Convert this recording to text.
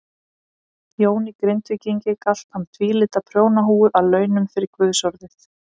Jóni Grindvíkingi galt hann tvílita prjónahúfu að launum fyrir guðsorðið.